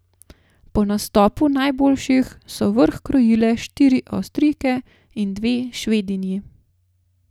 Po nastopu najboljših so vrh krojile štiri Avstrijke in dve Švedinji.